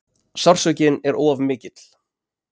Sársaukinn er of mikill.